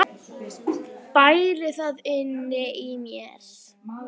Bæli það inni í mér.